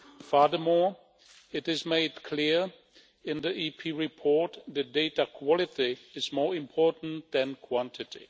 Furthermore, it is made clear in the EP report that data quality is more important than quantity.